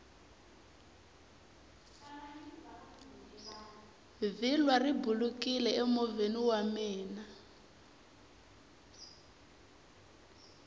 vhilwa ri bulukini emovheni wa mina